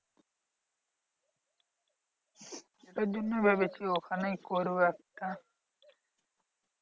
তার জন্য ভেবেছি ওখানেই করবো একটা।